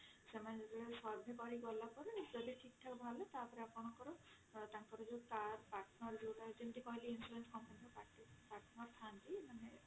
ସେମାନେ ଯେତେବେଳେ survey କରି ଗଲାପରେ ଯଦି ଠିକ ଠାକ ହେଲା ତାପରେ ଆପଣଙ୍କର ତାପରେ insurance ମାନେ